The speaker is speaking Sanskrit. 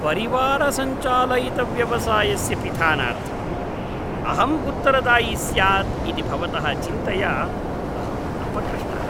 परिवारसञ्चालितव्यवसायस्य पिधानार्थं अहं उत्तरदायी स्यात् इति भवतः चिन्तया अहं अपकृष्टः।